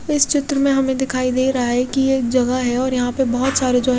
इस चित्र में हमें दिखाई दे रहा है कि एक जगह है और यहां पे बहोत सारे जो है--